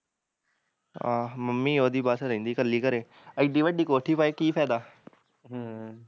ਆਹੋ ਮੰਮੀ ਉਹਦੀ ਬਸ ਰਹਿੰਦੀ ਕੱਲੀ ਘਰੇ, ਏਡੀ ਵੱਡੀ ਕੋਠੀ ਪਾਈ ਕੀ ਫ਼ੈਦਾ ਹਮ